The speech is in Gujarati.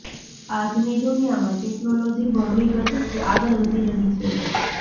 આજની દુનિયામાં ટેકનોલોજી બમણી ગતીથી આગળ વધી રહી છે